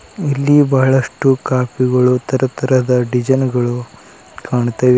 ಇಲ್ಲಿ ಬಹಳಷ್ಟು ಕಾಪಿ ಗಳು ತರತರದ ಡಿಸೈನ್ ಗಳು ಕಾಣುತ್ತಿವೆ.